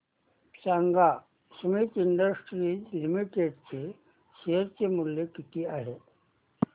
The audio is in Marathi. सांगा सुमीत इंडस्ट्रीज लिमिटेड चे शेअर मूल्य किती आहे